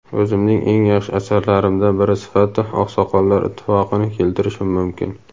o‘zimning eng yaxshi asarlarimdan biri sifatida "Oqsoqollar ittifoqi"ni keltirishim mumkin.".